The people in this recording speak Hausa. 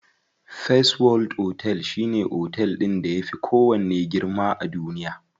First world otel shine otel ɗin da yafi kowanne girma a duniya.